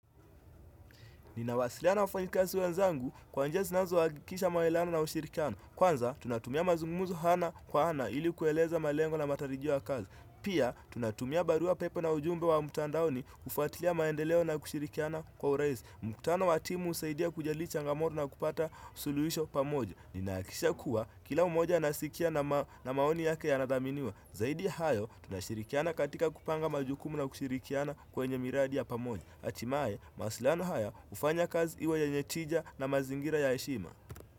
Ninawasiliana na wafanyakazi wenzangu kwa njia sinazo hakikisha maelewano na ushirikiano. Kwanza, tunatumia mazungumzo hana kwa hana ili kueleza malengo na matarijiao ya kazi. Pia, tunatumia barua pepe na ujumbe wa mtandaoni kufatilia maendeleo na kushirikiana kwa uraisi. Mkutano watimu husaidia kujali changamoto na kupata suluhisho pamoja. Ninahakikisha kuwa kila mmoja anasikia na maoni yake yanadhaminiwa Zaidi hayo, tunashirikiana katika kupanga majukumu na kushirikiana kwenye miradi ya pamoja. Atimae, mawasiliano haya, ufanya kazi iwe yenye tija na mazingira ya heshima.